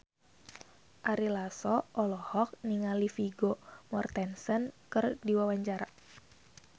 Ari Lasso olohok ningali Vigo Mortensen keur diwawancara